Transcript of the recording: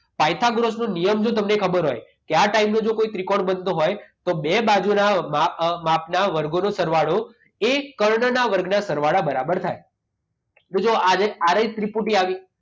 પાયથગોરસનો નિયમ જો તમને ખબર હોય કે આ ટાઈપનો જો કોઈ ત્રિકોણ બનતો હોય તો બે બાજુના માપ અ માપના વર્ગોનો સરવાળો એ કર્ણના વર્ગના સરવાળા બરાબર થાય. તો જુઓ આજે આરએસ ત્રિપુટી આવી.